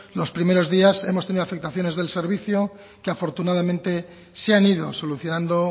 los primeros días hemos tenido afectaciones del servicio que afortunadamente se han ido solucionando